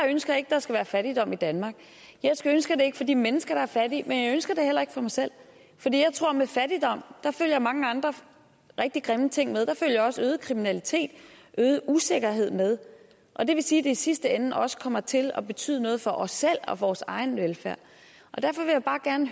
ønsker at der skal være fattigdom i danmark jeg ønsker det ikke for de mennesker der er fattige men jeg ønsker det heller ikke for mig selv fordi jeg tror med fattigdom følger mange andre rigtig grimme ting der følger også øget kriminalitet øget usikkerhed med og det vil sige at det i sidste ende også kommer til at betyde noget for os selv og vores egen velfærd derfor vil jeg bare gerne